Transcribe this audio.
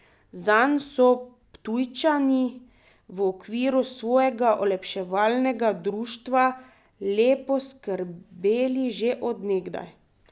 Zanj so Ptujčani v okviru svojega olepševalnega društva lepo skrbeli že od nekdaj.